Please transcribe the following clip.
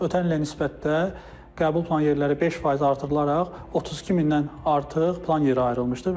Ötən ilə nisbətdə qəbul plan yerləri 5% artırılaraq 32000-dən artıq plan yeri ayrılmışdır.